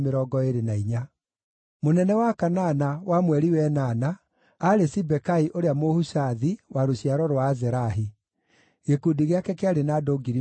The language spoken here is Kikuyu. Mũnene wa kanana, wa mweri wa ĩnana, aarĩ Sibekai ũrĩa Mũhushathi wa rũciaro rwa Azerahi. Gĩkundi gĩake kĩarĩ na andũ 24,000.